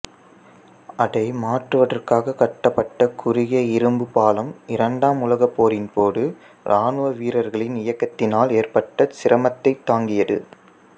அதை மாற்றுவதற்காக கட்டப்பட்ட குறுகிய இரும்பு பாலம் இரண்டாம் உலகப் போரின்போது இராணுவ வீரர்களின் இயக்கத்தினால் ஏற்பட்ட சிரமத்தைத் தாங்கியது